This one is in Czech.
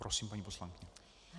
Prosím, paní poslankyně.